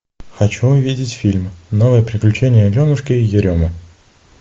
хочу увидеть фильм новые приключения аленушки и еремы